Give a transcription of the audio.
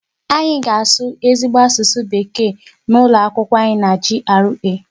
Anyị ga na-asụ ezigbo asụsụ bekee n'ụlọ akwụkwọ anyị na GRA.